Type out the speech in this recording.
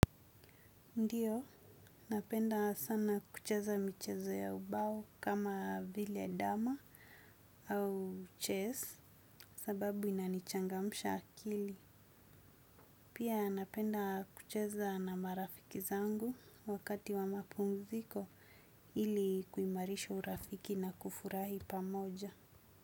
Ndiyo, napenda sana kucheza michezo ya ubao kama vile dama au chess sababu inanichangamusha akili. Pia napenda kucheza na marafiki zangu wakati wa mapumziko ili kuimarisha urafiki na kufurahi pamoja.